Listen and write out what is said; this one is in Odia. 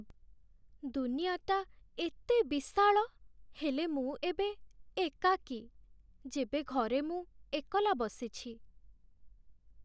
ଦୁନିଆଟା ଏତେ ବିଶାଳ, ହେଲେ ମୁଁ ଏବେ ଏକାକୀ, ଯେବେ ଘରେ ମୁଁ ଏକଲା ବସିଛି।